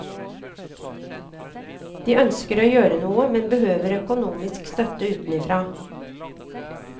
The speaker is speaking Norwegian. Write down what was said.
De ønsker å gjøre noe, men behøver økonomisk støtte utenfra.